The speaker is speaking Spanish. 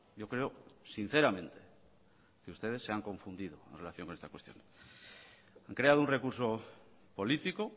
yo creo sinceramente que ustedes se han confundido en relación con esta cuestión han creado un recurso político